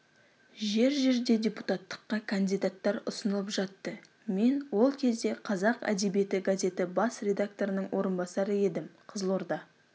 жер-жерде депутаттыққа кандидаттар ұсынылып жатты мен ол кезде қазақ әдебиеті газеті бас редакторының орынбасары едім қызылорда